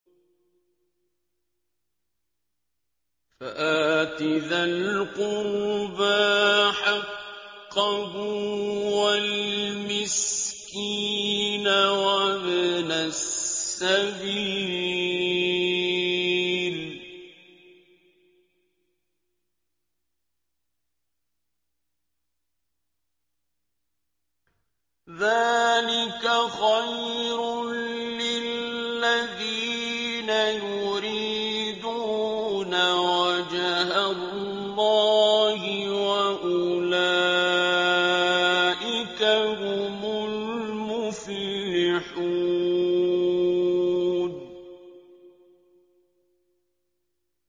فَآتِ ذَا الْقُرْبَىٰ حَقَّهُ وَالْمِسْكِينَ وَابْنَ السَّبِيلِ ۚ ذَٰلِكَ خَيْرٌ لِّلَّذِينَ يُرِيدُونَ وَجْهَ اللَّهِ ۖ وَأُولَٰئِكَ هُمُ الْمُفْلِحُونَ